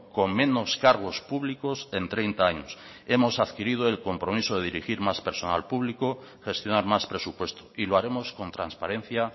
con menos cargos públicos en treinta años hemos adquirido el compromiso de dirigir más personal público gestionar más presupuesto y lo haremos con transparencia